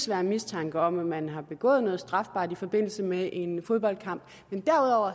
være mistanke om at man har begået noget strafbart i forbindelse med en fodboldkamp og